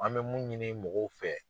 An bɛ mun ɲini mɔgɔw fɛ